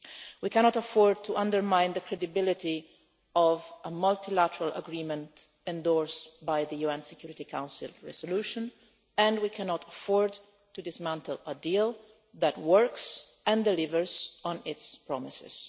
We cannot afford to undermine the credibility of a multilateral agreement endorsed by the UN Security Council resolution, and we cannot afford to dismantle a deal that works and delivers on its promises.